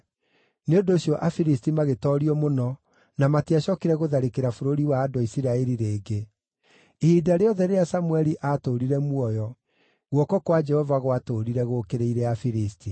Nĩ ũndũ ũcio Afilisti magĩtoorio mũno na matiacookire gũtharĩkĩra bũrũri wa andũ a Isiraeli rĩngĩ. Ihinda rĩothe rĩrĩa Samũeli aatũũrire muoyo, guoko kwa Jehova gwatũũrire gũũkĩrĩire Afilisti.